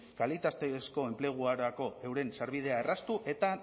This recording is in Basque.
kalitatezko enplegurako euren sarbidea erraztu eta